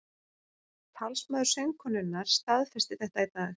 Talsmaður söngkonunnar staðfesti þetta í dag